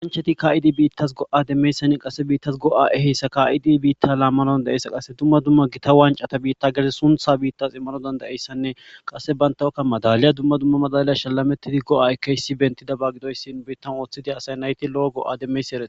Kasachati ka'idi bitas go'a demizaysanne qase bitas go'a ehizaysa bita lamana qase dumma dumma gita wanca bita gede suntha bitas iman dada'izaysanne qase bataka madaliya dumma dumma madliya shalametana